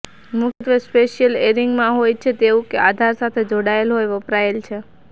મુખ્યત્વે સ્પેશિયલ એરિંગમાં હોય છે તેવું કે આધાર સાથે જોડાયેલા હોય વપરાય છે